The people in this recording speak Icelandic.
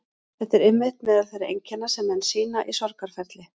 Þetta eru einmitt meðal þeirra einkenna sem menn sýna í sorgarferli.